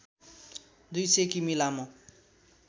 २०० किमि लामो